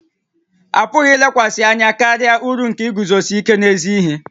A pụghị ilekwasị anya karịa uru nke iguzosi ike n'ezi ihe